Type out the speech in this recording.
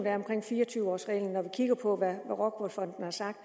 er omkring fire og tyve års reglen når vi kigger på hvad rockwool fonden har sagt